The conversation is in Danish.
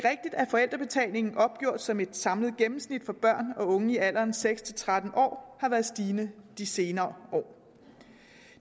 forældrebetalingen opgjort som et samlet gennemsnit for børn og unge i alderen seks tretten år har været stigende i de senere år